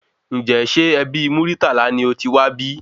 Ǹjẹ ṣe ẹbí Muritala ni otiwá bí?